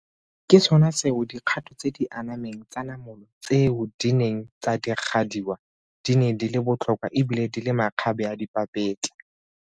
Ke sona seo dikgato tse di anameng tsa namolo tseo di neng tsa diragadiwa di ne di le botlhokwa ebile di le makgabeadipapetla.